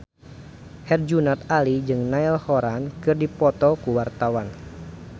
Herjunot Ali jeung Niall Horran keur dipoto ku wartawan